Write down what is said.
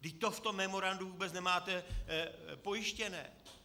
Vždyť to v tom memorandu vůbec nemáte pojištěné.